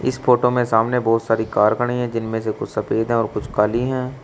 इस फोटो में सामने बहुत सारी कार खड़ी है जिनमें से कुछ सफेद है कुछ काली है।